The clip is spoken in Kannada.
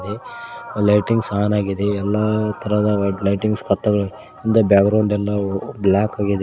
ಲೈಟಿಂಗ್ಸ್ ಆನ್ ಆಗಿದೆ ಎಲ್ಲಾ ತರಹದ ಲೈಟಿಂಗ್ಸ್ ಹಿಂದೆ ಬ್ಯಾಗ್ರೌಂಡ್ ಎಲ್ಲಾ ಬ್ಲ್ಯಾಕ್ ಆಗಿದೆ.